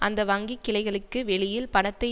அந்த வங்கி கிளைகளுக்கு வெளியில் பணத்தை